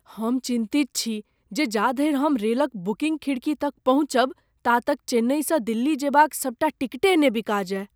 हम चिन्तित छी जे जा धरि हम रेल क बुकिंग खिड़की तक पहुँचब ता तक चेन्नइसँ दिल्ली जेबाक सबटा टिकटे ने बिका जाए।